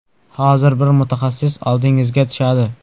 Hozir, bir mutaxassis oldingizga tushadi.